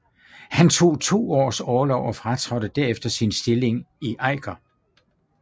Han tog to års orlov og fratrådte derefter sin stilling i Eiker